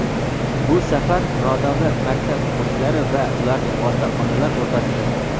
Bu safar nodavlat maktab o‘quvchilari va ularning ota-onalar o‘rtasida!.